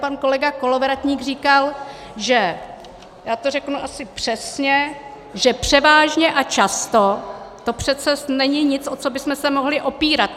Pan kolega Kolovratník říkal, že - já to řeknu asi přesně - že převážně a často to přece není nic, o co bychom se mohli opírat.